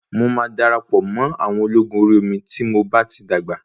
Mo máa darapọ̀ mọ́ àwọn ológun Orí omi tí mo bá ti dàgbà.